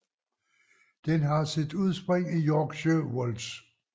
Den har sit udspring i Yorkshire Wolds